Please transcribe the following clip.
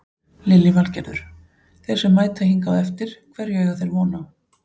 Lillý Valgerður: Þeir sem mæta hingað á eftir hverju eiga þeir von á?